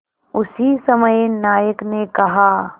उसी समय नायक ने कहा